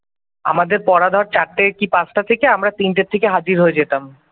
আমাদের পড়া ধর চারটেই কি পাঁচটা থেকে আমরা তিনটেই গিয়ে হাজির হয়ে যেতাম।